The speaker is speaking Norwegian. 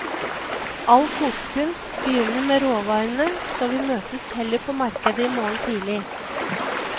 All kokekunst begynner med råvarene så vi møtes heller på markedet i morgen tidlig.